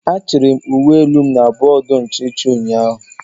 a chiri m uwe elu m na bọọdụ nchichi ụnyaahụ.